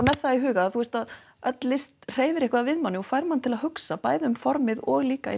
með það í huga þú veist að öll list hreyfir eitthvað við mannig og fær mann til að hugsa bæði um formið og líka